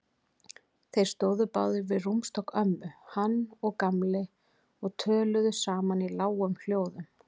Þeir stóðu báðir við rúmstokk ömmu, hann og Gamli, og töluðu saman í lágum hljóðum.